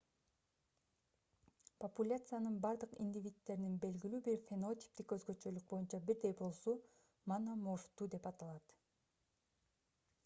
популяциянын бардык индивиддеринин белгилүү бир фенотиптик өзгөчөлүк боюнча бирдей болуусу мономорфтуу деп аталат